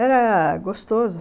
Era gostoso